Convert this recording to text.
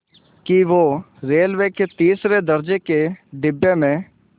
कि वो रेलवे के तीसरे दर्ज़े के डिब्बे में